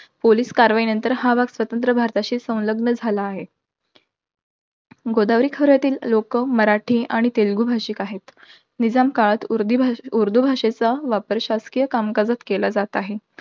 Police कारवाई नंतर हा भाग स्वतंत्र भारताशी संलग्न झाला आहे. गोदावरी खोऱ्यातील लोकं, मराठी आणि तेलगु भाषिक आहेत. निजाम काळात उर्दी~ उर्दू भाषेचा वापर शासकीय कामकाजात केला जात आहे.